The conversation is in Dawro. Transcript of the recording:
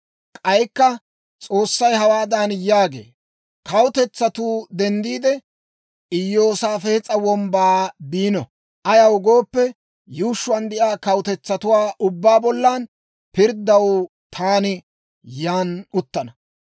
K'aykka S'oossay hawaadan yaagee; «Kawutetsatuu denddiide, Iyoosaafes'a Wombbaa biino; ayaw gooppe, yuushshuwaan de'iyaa kawutetsatuwaa ubbaa bollan pirddanaw taani yan uttana.